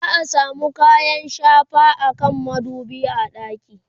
za'a samu kayan shafa akan madubi a ɗaki